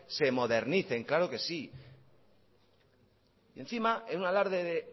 se modernicen claro que sí encima en un alarde de